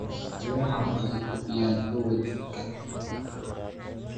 Miraha waxay kordhiyaan xoogga jidhka.